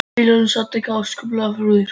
Vilhjálmur samt ekki eins ákaflega og Þrúður.